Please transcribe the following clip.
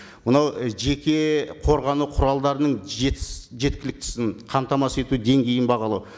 мынау і жеке қорғану құралдарының жеткіліктісін қамтамасыз ету деңгейін бағалау